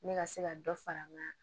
Ne ka se ka dɔ fara n ka